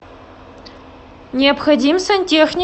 необходим сантехник